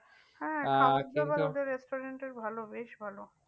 হ্যাঁ খাবারদাবার ওদের restaurant এর ভালো বেশ ভালো।